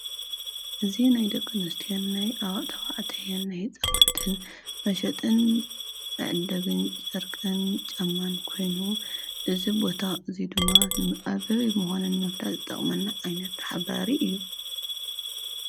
እዙ ናይ ደቂ ኣነስትዮ ኣዋዕተዋ ኣተየን ኣይጸኹንትን መሸጥን ኣዕደግን ጨርቅን ጨማን ኮይኑ እዝቦታ እዙይ ድማ ምዕበቢ ምኾነን መፍላት ዝጠቕመና ኣይነት ሓባሪ እዩ።